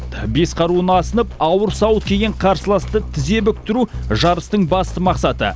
бес қаруын асынып ауыр сауыт киген қарсыласты тізе бүктіру жарыстың басты мақсаты